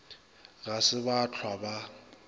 ga se ba hlwa ba